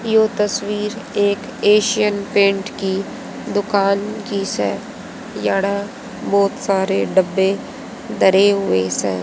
यह तस्वीर एक एशियन पेंट की दुकान की से यहां बहुत सारे डब्बे धरे हुए से।